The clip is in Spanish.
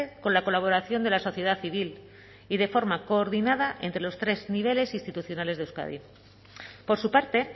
con la colaboración de la sociedad civil y de forma coordinada entre los tres niveles institucionales de euskadi por su parte